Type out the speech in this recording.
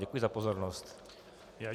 Děkuji za pozornost.